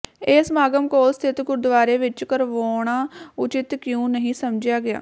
ਇਹ ਸਮਾਗਮ ਕੋਲ ਸਥਿਤ ਗੁਰਦੁਆਰੇ ਵਿੱਚ ਕਰਵਾਉਣਾ ਉਚਿਤ ਕਿਉਂ ਨਹੀਂ ਸਮਝਿਆ ਗਿਆ